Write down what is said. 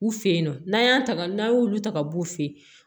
U fe yen nɔ n'an y'a ta ka n'a y'olu ta ka b'u fɛ